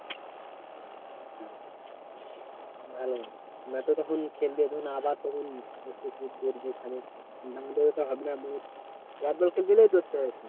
ভালো নয়তো তখন খেলবি আবার তখন দৌড়বি খানিক ব্যাটবল খেলতে গেলেই দৌড়তে হবে।